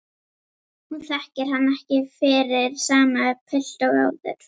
Hún þekkir hann ekki fyrir sama pilt og áður.